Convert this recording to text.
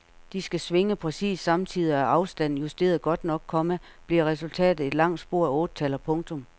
De skal svinge præcis samtidig og er afstanden justeret godt nok, komma bliver resultatet et langt spor af ottetaller. punktum